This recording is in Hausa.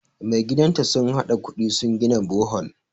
magidanta sun haɗa kudi sun gina Bohol